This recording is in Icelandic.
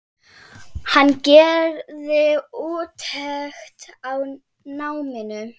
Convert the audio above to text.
Hann gerði úttekt á náminu.